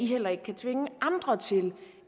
heller ikke kan tvinge andre til